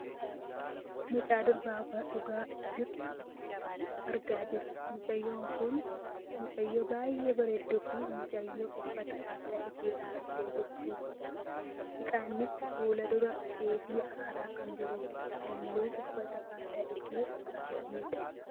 Mucaa dubaraa buna dhugaa jirtu argaa jirra. Mucayyoon kun mucayyoo baayyee bareedduufi mucayyoo uffata aadaa ishee uffattee jirtudha. Ixaannis fuuldura isheetii aaraa kan jiru dha. Halluun uffata aadaashee halluu baayyeedha.